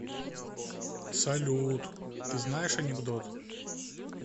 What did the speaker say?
салют ты знаешь анекдот